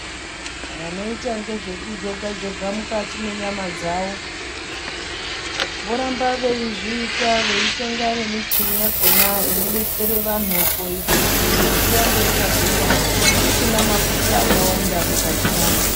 Vanoita ngezve kujoga joga mukati mwenyama dzawo voramba veizviita veitenga nemichini yakhona inodetsere vanhu kuite kuti miri irambe yakagwinya isina mafuta akawanda mukati mwayo.